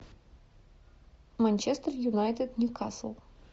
манчестер юнайтед ньюкасл